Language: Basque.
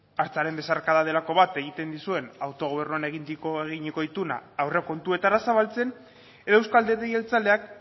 hartzaren besarkada delako bat egin dizuen autogobernuan eginiko ituna aurrekontuetara zabaltzen edo euzko alderdi jeltzaleak